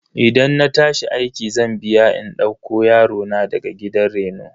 Idan na tashi aiki zan biya in dauko yarona daga gidan reno.